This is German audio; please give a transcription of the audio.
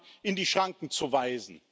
Orbán in die Schranken zu weisen!